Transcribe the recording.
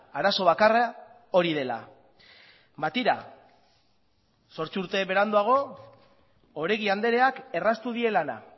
arazo bakarra hori dela ba tira zortzi urte beranduago oregi andreak erraztu die lana